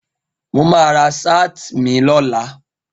Mo ma ra sáàt mi lọ́la